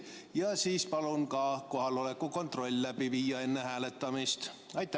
Ja seejärel palun enne hääletamist läbi viia kohaloleku kontrolli.